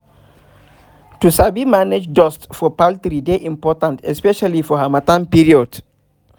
to sabi manage dust for poultry dey important especially for hamattan period